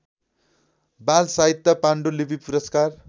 बालसाहित्य पाण्डुलिपि पुरस्कार